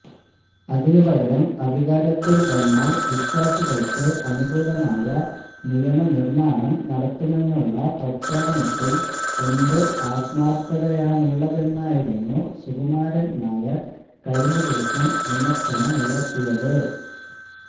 അതിനു പകരം അധികാരത്തില് വന്നാല് വിശ്വാസികള്ക്ക് അനുകൂലമായ നിയമനിര്മാണം നടത്തുമെന്നുള്ള പ്രഖ്യാപനത്തില് എന്ത് ആത്മാര്ഥതയാണുള്ളതെന്നായിരുന്നു സുകുമാരന് നായര് കഴിഞ്ഞദിവസം വിമര്ശനമുയര്ത്തിയത്